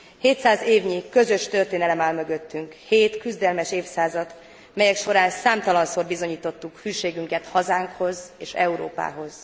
Hétszáz évnyi közös történelem áll mögöttünk, hét küzdelmes évszázad, melyek során számtalanszor bizonyítottuk hűségünket hazánkhoz és Európához.